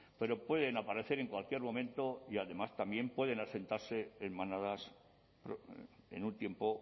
pero pueden aparecer en cualquier momento y además también pueden asentarse en manadas en un tiempo